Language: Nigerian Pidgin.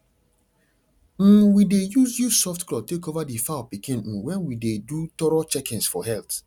um we dey use use soft cloth take cover the fowl pikin um when we dey do thorough checkings for health